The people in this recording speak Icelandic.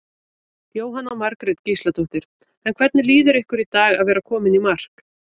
Jóhanna Margrét Gísladóttir: En hvernig líður ykkur í dag að vera komin í mark?